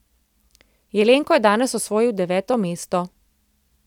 Jelenko je danes osvojil deveto mesto.